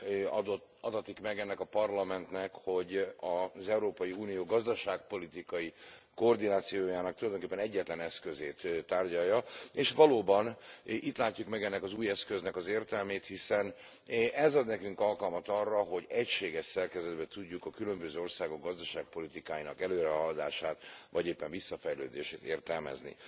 Elnök Úr, immáron negyedik alkalommal adatik meg ennek a Parlamentnek, hogy az Európai Unió gazdaságpolitikai koordinációjának tulajdonképpen egyetlen eszközét tárgyalja. És valóban itt látjuk meg ennek az új eszköznek az értelmét, hiszen ez ad nekünk alkalmat arra, hogy egységes szerkezetben tudjuk a különböző országok gazdaságpolitikájának előrehaladását vagy éppen visszafejlődését értelmezni.